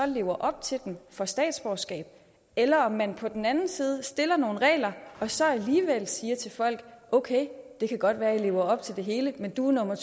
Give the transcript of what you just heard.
lever op til dem får statsborgerskab eller om man på den anden side stiller nogle regler og så alligevel siger til folk okay det kan godt være du lever op til det hele men du er nummer